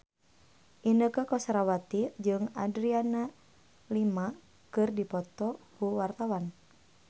Inneke Koesherawati jeung Adriana Lima keur dipoto ku wartawan